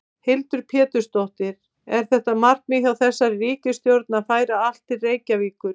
Hildur Pétursdóttir: Er þetta markmið hjá þessari ríkisstjórn að færa allt til Reykjavíkur?